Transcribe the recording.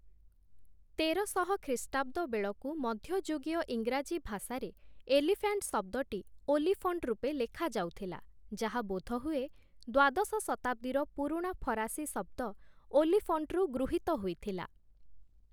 ତେରଶହ ଖ୍ରୀଷ୍ଟାବ୍ଦ ବେଳକୁ ମଧ୍ୟଯୁଗୀୟ ଇଂରାଜୀ ଭାଷାରେ ଏଲିଫ୍ୟାଣ୍ଟ୍ ଶବ୍ଦଟି 'ଓଲିଫଣ୍ଟ' ରୂପେ ଲେଖାଯାଉଥିଲା ଯାହା ବୋଧହୁଏ, ଦ୍ୱାଦଶ ଶତାବ୍ଦୀର ପୁରୁଣା ଫରାସୀ ଶବ୍ଦ 'ଓଲିଫଣ୍ଟ'ରୁ ଗୃହୀତ ହୋଇଥିଲା ।